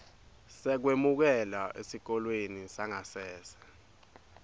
sekwemukelwa esikolweni sangasese